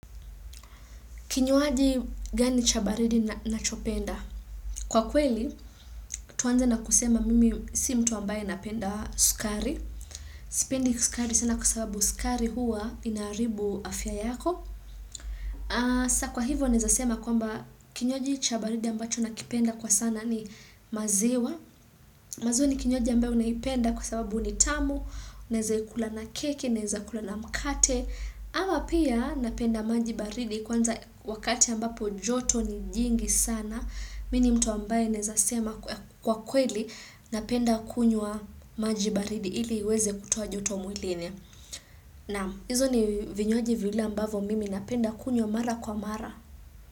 Kinywaji gani cha baridi nachopenda. Kwa kweli, tuanze na kusema mimi si mtu ambaye napenda sukari. Sipendi sukari sana kwa sababu sukari huwa inaribu afya yako. Sa kwa hivyo nezasema kwamba kinywaji cha baridi ambacho nakipenda kwa sana ni maziwa mazo ni kinywaji ambayo unayipenda kwa sababu ni tamu unezaikula na keki, unezaikula na mkate ama pia napenda maji baridi kwanza wakati ambapo joto ni jingi sana mi ni mtu ambaye nezasema kwa kweli napenda kunywa maji baridi ili iweze kutoa joto mwilini Naam, hizo ni vinywaji vile ambavo mimi napenda kunywa mara kwa mara.